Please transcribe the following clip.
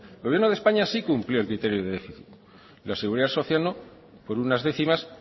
el gobierno de españa sí cumplió el criterio de déficit la seguridad social no por unas décimas